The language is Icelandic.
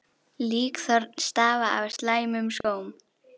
Líkþorn stafa af slæmum skóm.